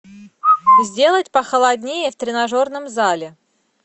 сделать похолоднее в тренажерном зале